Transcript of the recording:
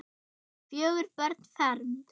Fjögur börn fermd.